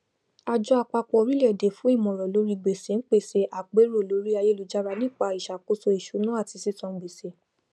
àjọ àpapọ orílẹèdè fún ìmòràn lórí gbèsè ń pèsè àpérò lórí ayélujára nípá ìsàkósó ìṣúná ati sisan gbèsè